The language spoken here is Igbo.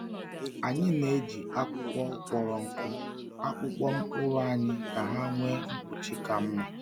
Anyị na-eji akwụkwọ akpọrọ nkụ akpụkpọ mkpụrụ anyị ka ha nwee mkpuchi ka mma.